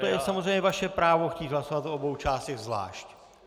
To je samozřejmě vaše právo chtít hlasovat o obou částech zvlášť.